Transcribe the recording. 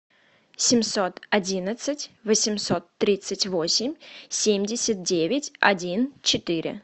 семьсот одинадцать восемьсот тридцать восемь семьдесят девять один четыре